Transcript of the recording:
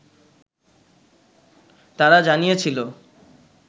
তারা জানিয়েছিল